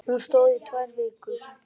Hún stóð í tvær vikur.